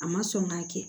A ma sɔn k'a kɛ